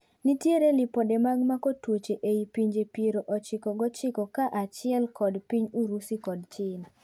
Nitiere lipode mag mako tuoche ei pinje piero ochiko gochiko ka achiel kod piny Urusu kod China.